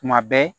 Tuma bɛɛ